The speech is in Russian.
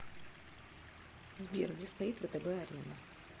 сбер где стоит втб арена